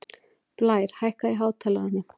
Blær, hækkaðu í hátalaranum.